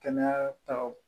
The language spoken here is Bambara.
Kɛnɛya taw